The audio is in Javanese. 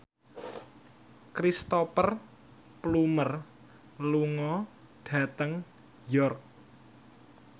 Cristhoper Plumer lunga dhateng York